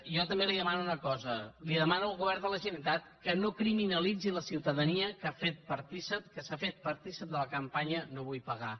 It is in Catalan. jo també li demano una cosa demano al govern de la generalitat que no criminalitzi la ciutadania que s’ha fet partícip de la campanya no vull pagar